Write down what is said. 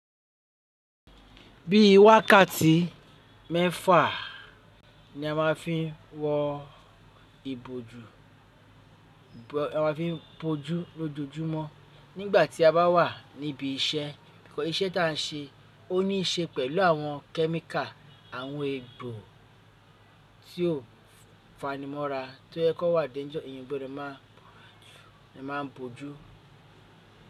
Bí i wákàtí mẹ́fà ni a máà ń fi n wọ ìbòjú, a ma ń fi bójú lójojúmọ́ nígbà tí a bá wà níbí iṣẹ́. Iṣẹ́ tá a ń ṣe, ó níí ṣe pẹ̀lú àwọn chemical, àwọn egbò tí ò fani mọ́ra to je pe o wà déjọ, eeyan gbódo maa bójú.